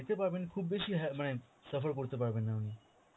যেতে পারবেন খুব বেশি অ্যাঁ মানে surfer করতে পারবেন না উনি